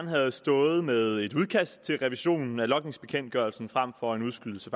havde stået med et udkast til revisionen af logningsbekendtgørelsen frem for en udskydelse